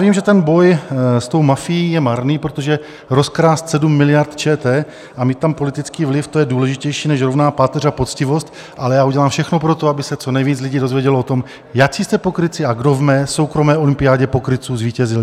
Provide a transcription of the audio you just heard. Vím, že ten boj s tou mafií je marný, protože rozkrást 7 miliard ČT a mít tam politický vliv, to je důležitější než rovná páteř a poctivost, ale já udělám všechno pro to, aby se co nejvíc lidí dozvědělo o tom, jací jste pokrytci a kdo v mé soukromé olympiádě pokrytců zvítězil.